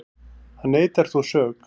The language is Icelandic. Hann neitar þó sök